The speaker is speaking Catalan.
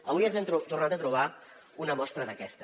avui ens n’hem tornat a trobar una mostra d’aquesta